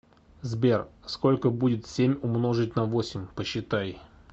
сбер сколько будет семь умножить на восемь посчитай